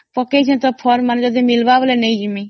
or ତ ପକେଇଛି ଯଦି ମିଳିବ ତ ନେଇଯିବି